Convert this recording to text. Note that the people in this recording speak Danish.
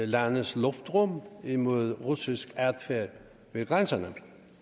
landes luftrum imod russisk adfærd ved grænserne